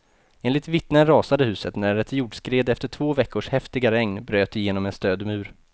Enligt vittnen rasade huset när ett jordskred efter två veckors häftiga regn bröt igenom en stödmur.